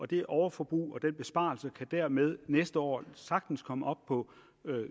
det overforbrug og den besparelse kan dermed næste år sagtens komme op på